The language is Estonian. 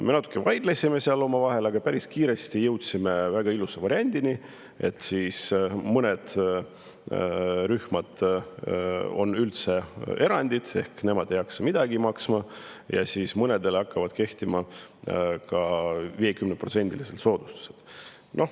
Me natuke vaidlesime seal omavahel, aga päris kiiresti jõudsime väga ilusa variandini, et mõned rühmad on erandid: mõned ei peaks midagi maksma ja mõnedele hakkavad kehtima 50%-lised soodustused.